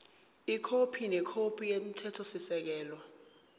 ikhophi nekhophi yomthethosisekelo